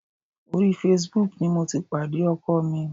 Orí Facebook ni mo ti pàdé ọkọ mi.